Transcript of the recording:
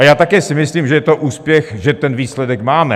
A já také si myslím, že je to úspěch, že ten výsledek máme.